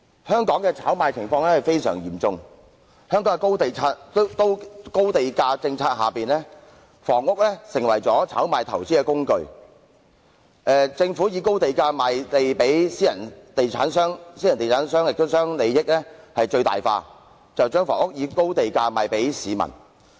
香港的炒賣情況相當嚴重，在香港的高地價政策下，房屋成為了炒賣投資工具，政府以高地價賣地予私人地產商，私人地產商將利益最大化，把房屋以高價賣給市民。